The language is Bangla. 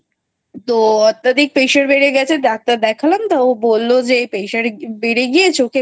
অত্যাধিক Pressure বেড়ে গেছে Doctor দেখলাম বললো যে Pressure বেড়ে গিয়ে চোখে